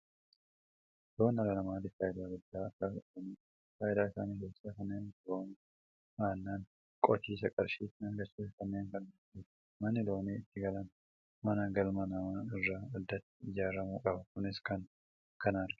Loon dhala namaatiif faayidaa guddaa ka qabanidha. Fayidaa isaanii keessaa kanneen akka foonii, aannan, qotisa, qarshii ittiin argachuu fi kanneen kana fakkaatani. Manni loon itti galan mana galmaa namaa irraa addatti ijaaramuu qaba. Kunis kana agarsiisa.